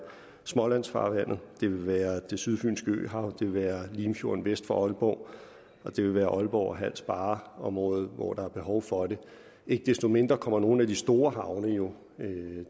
smålandsfarvandet det vil være det sydfynske øhav det vil være limfjorden vest for aalborg og det vil være aalborg og hals barre området hvor der er behov for det ikke desto mindre kommer nogle af de store havne jo